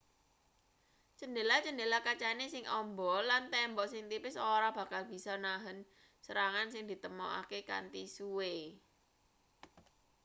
cendhela-chendela kacane sing amba lan tembok sing tipis ora bakal bisa nahen serangan sing ditemtokake kanthi suwe